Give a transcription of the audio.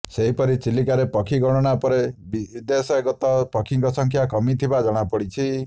ସେହିପରି ଚିଲିକାରେ ପକ୍ଷୀ ଗଣନା ପରେ ବିଦେଶାଗତ ପକ୍ଷୀଙ୍କ ସଂଖ୍ୟା କମିଥିବା ଜଣାପଡିଛି